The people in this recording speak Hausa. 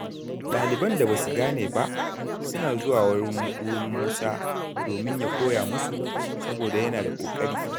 Ɗaliban da ba su gane ba suna zuwa wurin Musa domin ya koya musu, saboda yana da ƙoƙari.